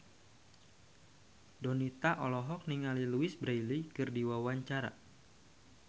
Donita olohok ningali Louise Brealey keur diwawancara